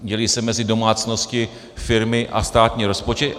Dělí se mezi domácnosti, firmy a státní rozpočet.